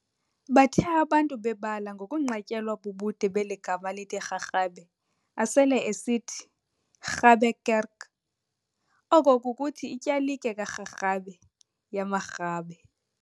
Bathe abantu bebala ngokunqatyelwa bubude beli gama lithi Rharhabe, asele esithi, "Rabe kerk," oko kukuthi ityalike ka"Rharhabe," yamaRhabe.